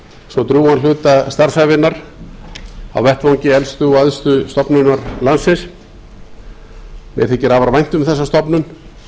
svo drjúgan hluta starfsævinnar á vettvangi elstu og æðstu stofnunar landsins mér þykir afar vænt um þessa stofnun